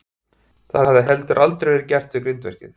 Það hafði heldur aldrei verið gert við grindverkið.